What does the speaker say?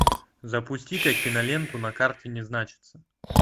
запусти ка киноленту на карте не значится